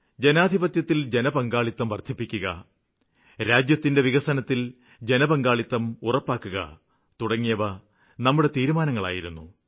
ജനാധിപത്യത്തില് ജനപങ്കാളിത്തം വര്ദ്ധിപ്പിക്കുക രാജ്യത്തിന്റെ വികസനത്തില് ജനപങ്കാളിത്തം ഉറപ്പാക്കുക തുടങ്ങിയവ നമ്മുടെ തീരുമാനങ്ങളായിരുന്നു